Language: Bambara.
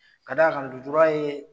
Ka d'a ka lojura ye